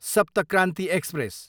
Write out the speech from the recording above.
सप्त क्रान्ति एक्सप्रेस